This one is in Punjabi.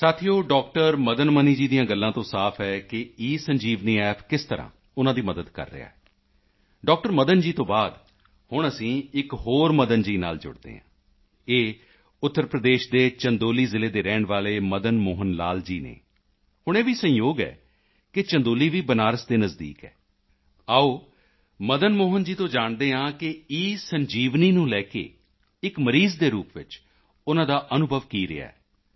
ਸਾਥੀਓ ਡਾਕਟਰ ਮਦਨ ਮਨੀ ਜੀ ਦੀਆਂ ਗੱਲਾਂ ਤੋਂ ਸਾਫ ਹੈ ਕਿ ਈਸੰਜੀਵਨੀ ਐਪ ਕਿਸ ਤਰ੍ਹਾਂ ਉਨ੍ਹਾਂ ਦੀ ਮਦਦ ਕਰ ਰਿਹਾ ਹੈ ਡਾਕਟਰ ਮਦਨ ਜੀ ਤੋਂ ਬਾਅਦ ਹੁਣ ਅਸੀਂ ਇੱਕ ਹੋਰ ਮਦਨ ਜੀ ਨਾਲ ਜੁੜਦੇ ਹਾਂ ਇਹ ਉੱਤਰ ਪ੍ਰਦੇਸ਼ ਦੇ ਚੰਦੋਲੀ ਜ਼ਿਲ੍ਹੇ ਦੇ ਰਹਿਣ ਵਾਲੇ ਮਦਨ ਮੋਹਨ ਲਾਲ ਜੀ ਹਨ ਹੁਣ ਇਹ ਵੀ ਸੰਯੋਗ ਹੈ ਕਿ ਚੰਦੋਲੀ ਵੀ ਬਨਾਰਸ ਦੇ ਨਜ਼ਦੀਕ ਹੈ ਆਓ ਮਦਨ ਮੋਹਨ ਜੀ ਤੋਂ ਜਾਣਦੇ ਹਾਂ ਕਿ ਈਸੰਜੀਵਨੀ ਨੂੰ ਲੈ ਕੇ ਇੱਕ ਮਰੀਜ਼ ਦੇ ਰੂਪ ਵਿੱਚ ਉਨ੍ਹਾਂ ਦਾ ਅਨੁਭਵ ਕੀ ਰਿਹਾ ਹੈ